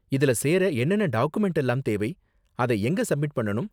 இதுல சேர என்னென்ன டாக்குமென்ட்லாம் தேவை? அதை எங்க சப்மிட் பண்ணனும்?